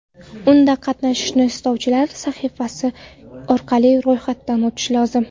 Unda qatnashishni istovchilar sahifasi orqali ro‘yxatdan o‘tishlari lozim.